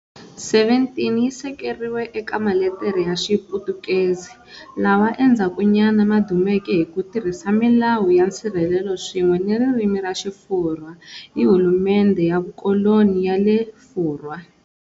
17 yi sekeriwe eka maletere ya Xiputukezi, lawa endzhakunyana ma dumeke hi ku tirhisa milawu ya nsirhelelo swin'we ni ririmi ra Xifurwa hi hulumendhe ya vukoloni ya le Furwa.